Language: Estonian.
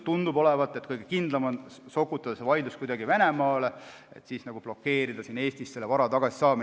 Tundub, et kõige kindlam on sokutada see vaidlus kuidagi Venemaale, et blokeerida siin Eestis vara tagasisaamine.